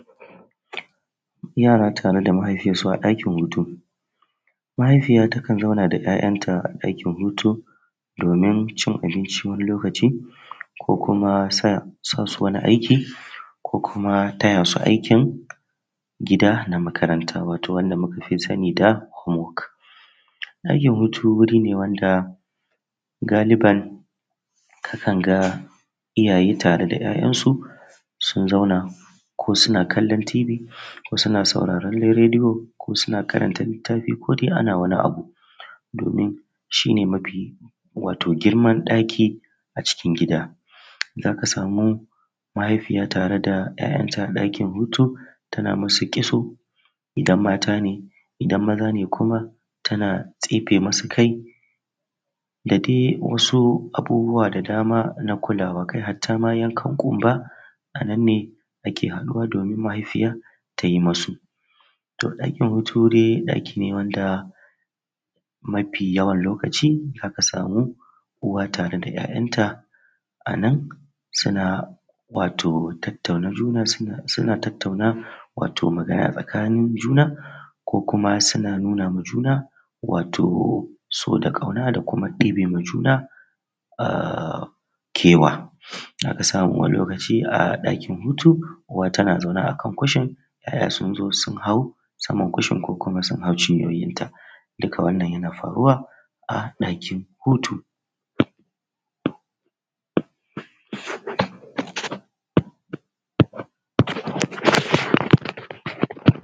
Yara tare da mahaifiyarsu a ɗakin hutu mahaifiya takan zauna da ya'yanta a dakin hutu domin cin abinci wani lokaci ko kuma sa sa su wani aiki ko kuma taya su aikin gida na makaranta wato wanda muka fi sani da home work. Ɗakin hutu wuri ne wanda galiban akan ga iyaye tare da 'ya'yansu sun zauna ko suna kallon tibi ko sun sauraran rediyo, ko suna karanta littafi ko dai ana wani abu domin shi ne mafi wato girman ɗaki a cikin gida zaka samu mahaifiya tare da 'ya'yanta a dakin hutu tana musu kitso idan mata ne idan maza ne kuma tana tsefe musu kai dadai wasu abubuwa da dama na kulawa har ta ma yankan ƙumba a nan ne ake haɗuwa domin mahaifiya ta yi musu. Toh Ɗakin hutu dai ɗaki ne wanda mafe yawan Lokaci za ka samu uwa tare da 'ya'yanta. A nan suna wato tattauna juna suna suna tattauna wato magana tsakanin juna ko kuma suna nuna ma juna wato so da ƙauna da kumai ɗebe ma juna um kewa. Za ka samu wani lokaci a ɗakin hutu uwa tana zaune a kan kushin 'ya'ya sun zo sun hau saman kushin ko kuma sun hau ciyoyinta, dukka wannan yan faruwa a ɗakin hutu.